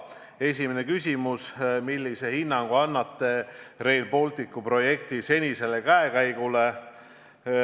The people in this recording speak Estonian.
Esimene küsimus: "Millise hinnangu annate Rail Balticu projekti senisele käekäigule?